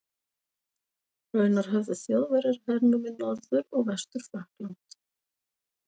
Raunar höfðu Þjóðverjar hernumið Norður- og Vestur-Frakkland.